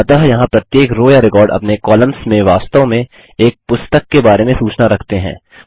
अतः यहाँ प्रत्येक रो या रिकॉर्ड अपने कॉलम्स में वास्तव में एक पुस्तक के बारे में सूचना रखते हैं